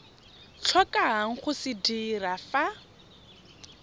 tlhokang go se dira fa